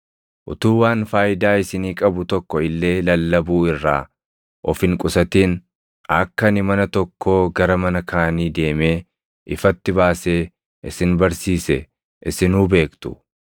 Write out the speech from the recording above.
Utuu waan faayidaa isinii qabu tokko illee lallabuu irraa of hin qusatin akka ani mana tokkoo gara mana kaanii deemee ifatti baasee isin barsiise isinuu beektu.